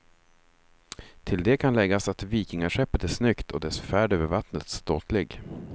Till det kan läggas att vikingaskeppet är snyggt, och dess färd över vattnet ståtlig.